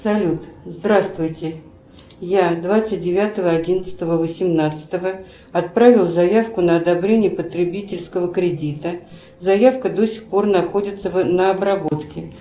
салют здравствуйте я двадцать девятого одиннадцатого восемнадцатого отправила заявку на одобрение потребительского кредита заявка до сих пор находится на обработке